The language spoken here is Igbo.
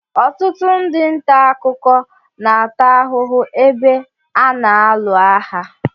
Ọtụtụ ndị ntà akụkọ na-ata ahụhụ ebe a na-alu agha.